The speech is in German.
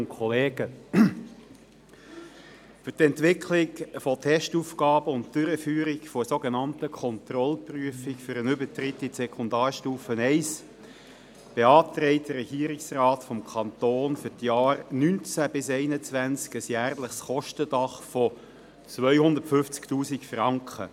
Für die Entwicklung der Testaufgaben und die Durchführung der Kontrollprüfung für den Übertritt in die Sekundarstufe I beantragt der Regierungsrat des Kantons für die Jahre 2019–2021 ein jährliches Kostendach von 250 000 Franken.